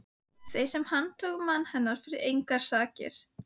Þeim sem handtóku mann hennar fyrir engar sakir!